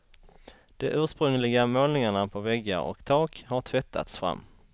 De ursprungliga målningarna på väggar och tak har tvättats fram.